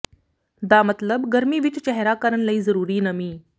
ਦਾ ਮਤਲਬ ਗਰਮੀ ਵਿੱਚ ਚਿਹਰਾ ਕਰਨ ਲਈ ਜ਼ਰੂਰੀ ਨਮੀ